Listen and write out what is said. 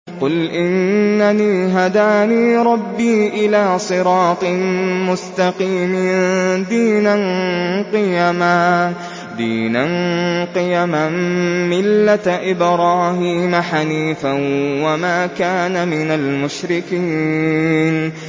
قُلْ إِنَّنِي هَدَانِي رَبِّي إِلَىٰ صِرَاطٍ مُّسْتَقِيمٍ دِينًا قِيَمًا مِّلَّةَ إِبْرَاهِيمَ حَنِيفًا ۚ وَمَا كَانَ مِنَ الْمُشْرِكِينَ